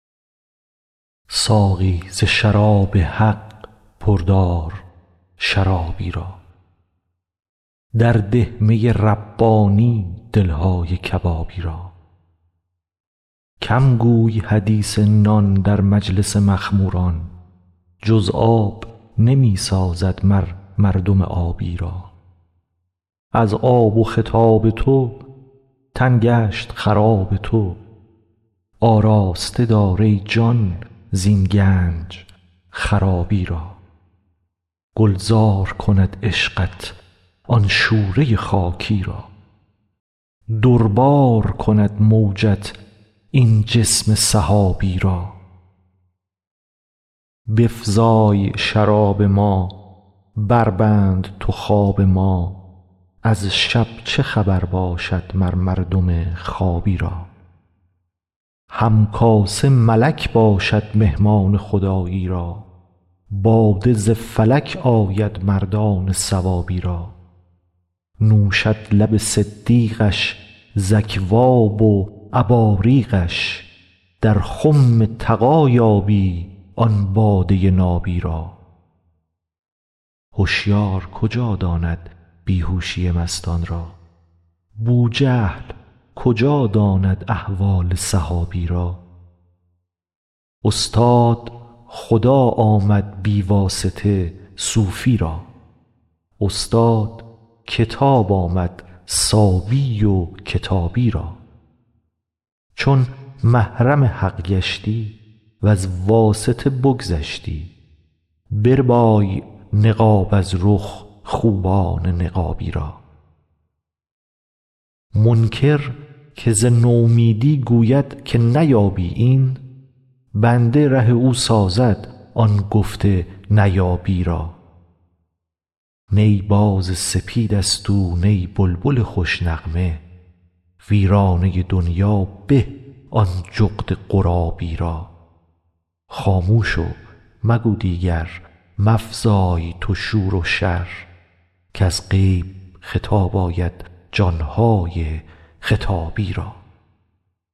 ساقی ز شراب حق پر دار شرابی را درده می ربانی دل های کبابی را کم گوی حدیث نان در مجلس مخموران جز آب نمی سازد مر مردم آبی را از آب و خطاب تو تن گشت خراب تو آراسته دار ای جان زین گنج خرابی را گلزار کند عشقت آن شوره خاکی را در بار کند موجت این چشم سحابی را بفزای شراب ما بربند تو خواب ما از شب چه خبر باشد مر مردم خوابی را هم کاسه ملک باشد مهمان خدایی را باده ز فلک آید مردان ثوابی را نوشد لب صدیقش ز اکواب و اباریقش در خم تقی یابی آن باده نابی را هشیار کجا داند بی هوشی مستان را بوجهل کجا داند احوال صحابی را استاد خدا آمد بی واسطه صوفی را استاد کتاب آمد صابی و کتابی را چون محرم حق گشتی وز واسطه بگذشتی بربای نقاب از رخ خوبان نقابی را منکر که ز نومیدی گوید که نیابی این بند ره او سازد آن گفت نیابی را نی باز سپید ست او نی بلبل خوش نغمه ویرانه دنیا به آن جغد غرابی را خاموش و مگو دیگر مفزای تو شور و شر کز غیب خطاب آید جان های خطابی را